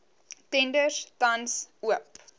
tenders tans oop